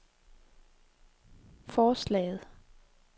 forslaget